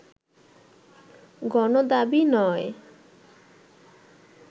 গণদাবী নয়